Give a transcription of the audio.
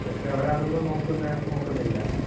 പക്ഷേ അവർ അതൊന്നും നോക്കുന്ന നോക്കുന്നില്ല